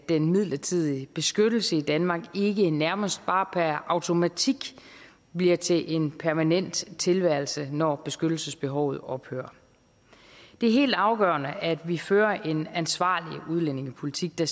den midlertidige beskyttelse i danmark ikke nærmest bare per automatik bliver til en permanent tilværelse når beskyttelsesbehovet ophører det er helt afgørende at vi fører en ansvarlig udlændingepolitik der